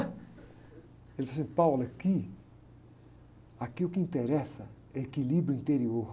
Ele falou assim, aqui, aqui o que interessa é equilíbrio interior.